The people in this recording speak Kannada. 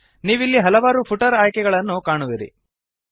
ನೀವಿಲ್ಲಿ ಹಲವಾರು ಫುಟರ್ ಆಯ್ಕೆಗಳನ್ನು ಕಾಣುವಿರಿ